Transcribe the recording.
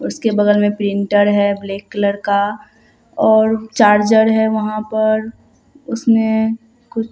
उसके बगल में प्रिंटर है ब्लैक कलर का और चार्ज है वहां पर उसने कुछ--